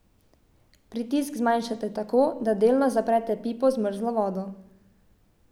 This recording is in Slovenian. Pritisk zmanjšate tako, da delno zaprete pipo z mrzlo vodo.